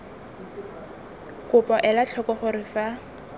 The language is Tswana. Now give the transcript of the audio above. kopo ela tlhoko gore fa